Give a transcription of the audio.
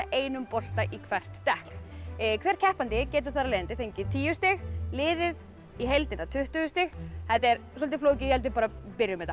einum bolta í hvert dekk hver keppandi getur fengið tíu stig liðið í heildina tuttugu stig þetta er soldið flókið ég held við bara byrjum þetta